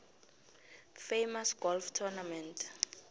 famous golf tournament